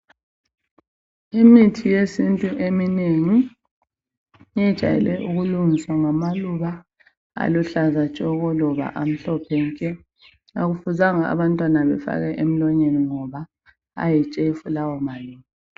Imithi yesintu eminengi bejwayele uku lungiswa ngamaluba aluhlaza tshoko kumbe amhlophe nke akufuzanga abantwana bafake emlonyeni ngoba ayitshefu lawa maluba.